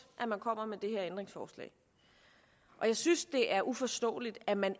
at man kommer med det her ændringsforslag og jeg synes det er uforståeligt at man